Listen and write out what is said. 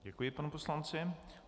Děkuji panu poslanci.